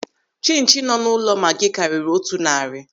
Chinchi nọ n'ụlọ Maagi karịrị otu narị.